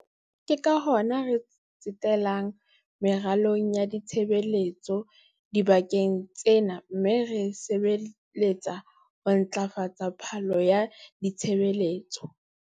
Ke ka hona re tsetelang meralong ya ditshebeletso dibakeng tsena mme re sebeletsang ho ntlafatsa phano ya ditshebeletso.